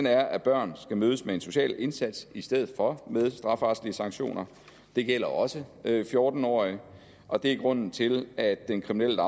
er at børn skal mødes med en social indsats i stedet for med strafferetlige sanktioner det gælder også fjorten årige og det er grunden til at den kriminelle